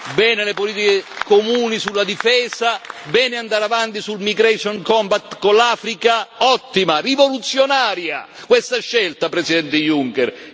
Bene le politiche comuni sulla difesa, bene andare avanti sul Migration Compact con l'Africa ottima, rivoluzionaria questa scelta, Presidente Juncker!